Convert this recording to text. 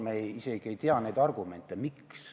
Me isegi ei tea neid argumente, miks.